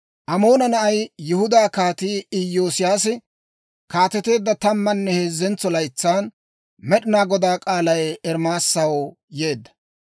Amoona na'ay, Yihudaa Kaatii Iyoosiyaasi kaateteedda tammanne heezzentso laytsan Med'inaa Godaa k'aalay Ermaasaw yeedda.